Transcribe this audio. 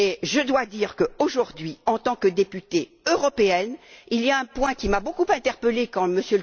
Je dois dire que, aujourd'hui, en tant que députée européenne, il y a un point qui m'a beaucoup interpellée quand M.